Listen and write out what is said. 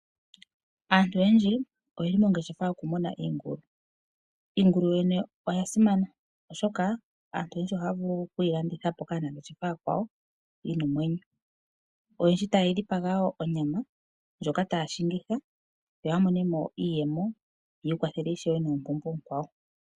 Aantu oyendji oye li monangeshefa yokumuna iingulu. Iingulu yo yene oya simana oshoka aantu oyendji ohaya vulu okuyi landithapo kaanangeshefa aakwawo yi na omwenyo, oyendji taye yi dhipaga wo onyama ndjoka taya shingitha yo ya monemo iiyemo yiikwathele ishewe noompumbwe oonkwawo.